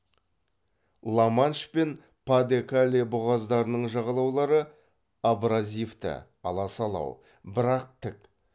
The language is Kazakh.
ла манш пен па де кале бұғаздарының жағалаулары абразивті аласалау бірақ тік